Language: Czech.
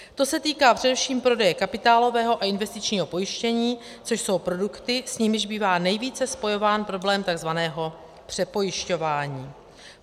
To se týká především prodeje kapitálového a investičního pojištění, což jsou produkty, s nimiž bývá nejvíce spojován problém tzv. přepojišťování.